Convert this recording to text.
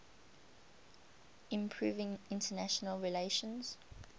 improving international relations